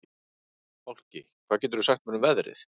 Fálki, hvað geturðu sagt mér um veðrið?